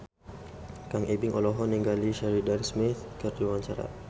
Kang Ibing olohok ningali Sheridan Smith keur diwawancara